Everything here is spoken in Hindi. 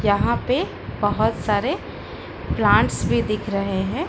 यहां पे बहोत सारे प्लांट्स भी दिख रहे हैं।